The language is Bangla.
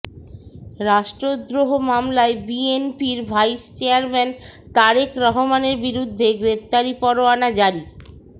রাষ্ট্রদ্রোহ মামলায় বিএনপির ভাইস চেয়ারম্যান তারেক রহমানের বিরুদ্ধে গ্রেপ্তারি পরোয়ানা জারি